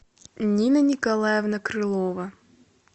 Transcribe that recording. нина николаевна крылова